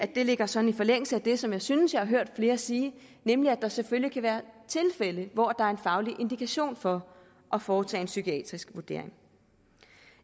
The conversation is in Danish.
det ligger sådan i forlængelse af det som jeg synes jeg har hørt flere sige nemlig at der selvfølgelig kan være tilfælde hvor der er en faglig indikation for at foretage en psykiatrisk vurdering